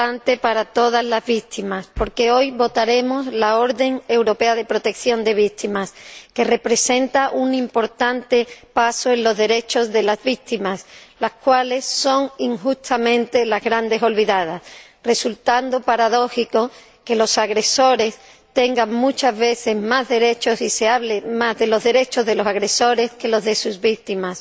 Señor Presidente, hoy es un día importante para todas las víctimas porque hoy votaremos la orden europea de protección de víctimas, que representa un importante paso en los derechos de estas, que son injustamente las grandes olvidadas, resultando paradójico que los agresores tengan muchas veces más derechos y se hable más de los derechos de los agresores que de los de sus víctimas.